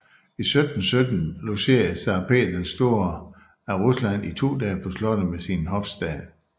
I 1717 logerede zar Peter den store af Rusland i to dage på slottet med sin hofstat